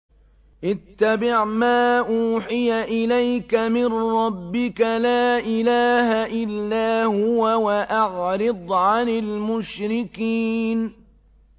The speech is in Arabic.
اتَّبِعْ مَا أُوحِيَ إِلَيْكَ مِن رَّبِّكَ ۖ لَا إِلَٰهَ إِلَّا هُوَ ۖ وَأَعْرِضْ عَنِ الْمُشْرِكِينَ